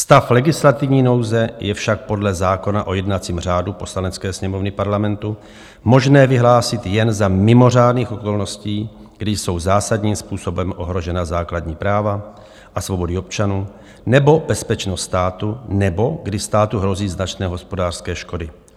Stav legislativní nouze je však podle zákona o jednacím řádu Poslanecké sněmovny Parlamentu možné vyhlásit jen za mimořádných okolností, kdy jsou zásadním způsobem ohrožena základní práva a svobody občanů nebo bezpečnost státu nebo kdy státu hrozí značné hospodářské škody.